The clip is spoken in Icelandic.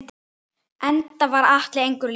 Enda var Atli engum líkur.